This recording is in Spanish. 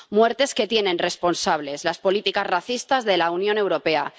Muertes que tienen responsables las políticas racistas de la Unión Europea.